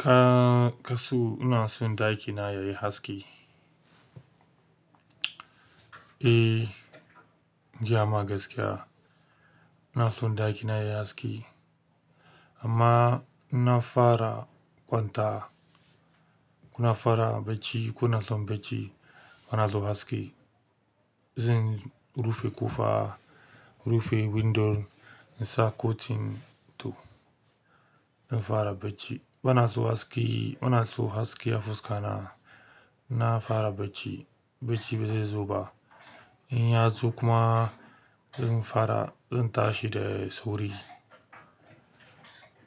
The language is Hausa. Ka-kasu ina son ɗakina yayi haske. Eh, in gaya ma gaskiya, ina son ɗakina yayi haske amma in na fara kwanta, kuna fara bacci kuna son bacci bana son haske. Zan, rufe ƙofa, rufe windo in sa kotin to, in fara bacci bana so haske, bana so haske a fuskana in na fara bacci, bacci ba zai zo ba. In ya zo kuma, in fara in tashi da sauri.